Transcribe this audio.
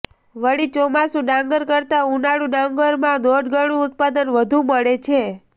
વળી ચોમાસું ડાંગર કરતા ઉનાળુ ડાંગરમાં દોઢ ગણું ઉત્પાદન વધુ મળે છે